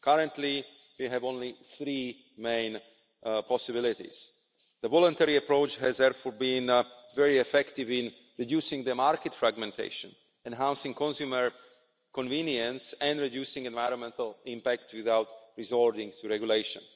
Currently, we have only three main possibilities. The voluntary approach has therefore been very effective in reducing market fragmentation, enhancing consumer convenience and reducing the environmental impact without resorting to regulation.